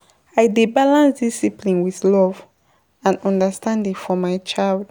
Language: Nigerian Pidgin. I dey balance discipline wit love and understanding for my child.